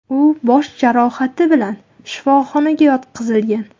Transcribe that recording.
U bosh jarohati bilan shifoxonaga yotqizilgan.